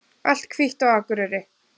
Allt hvítt á Akureyri